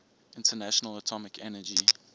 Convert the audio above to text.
international atomic energy